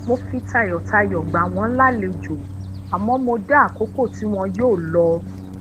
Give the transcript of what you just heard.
mo fi tayotayo gbà wón lalejo àmó mo dá àkókò ti won yoo lọ